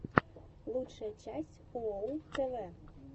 лучшая часть уоу тв